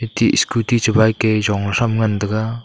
te scooty che bike e jong e thram ngan tega.